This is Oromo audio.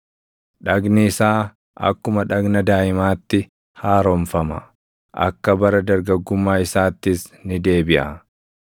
dhagni isaa akkuma dhagna daaʼimaatti haaromfama; akka bara dargaggummaa isaattis ni deebiʼa.